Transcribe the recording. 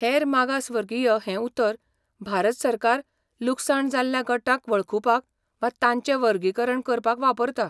हेर मागासवर्गीय हें उतर भारत सरकार लुकसाण जाल्ल्या गटांक वळखुपाक वा तांचें वर्गीकरण करपाक वापरता.